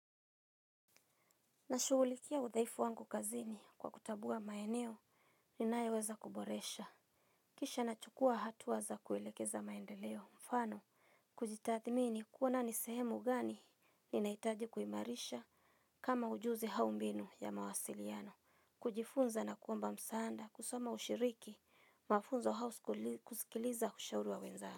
Nashughulikia uthaifu wangu kazini kwa kutambua maeneo ninayoweza kuboresha. Kisha nachukua hatua za kuelekeza maendeleo mfano. Kujitathmini kuona ni sehemu gani ninahitaji kuimarisha kama ujuzi au mbinu ya mawasiliano. Kujifunza na kuomba msaada kusoma ushiriki mafunzo au kusikiliza ushauri wa wenzako.